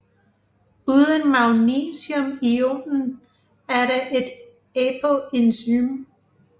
Uden magnesiumionen er det et apoenzym